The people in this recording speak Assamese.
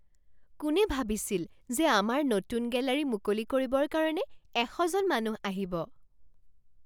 কোনে ভাবিছিল যে আমাৰ নতুন গেলাৰী মুকলি কৰিবৰ কাৰণে এশ জন মানুহ আহিব?